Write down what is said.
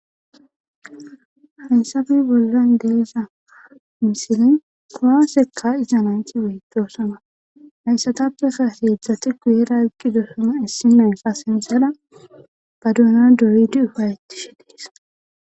Hnsabi bollan deesa misili kowa seka izananchi weytosana nayssatappeka eheedzdzati guyera kki dosoma issimenfa sensera baduuna doyidi ufayettishe dees.